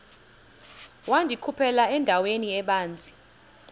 wandikhuphela endaweni ebanzi